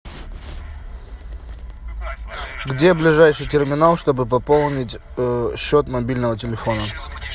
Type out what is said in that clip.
где ближайший терминал чтобы пополнить счет мобильного телефона